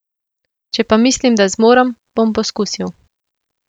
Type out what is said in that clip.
Če pa mislim, da zmorem, bom poskusil.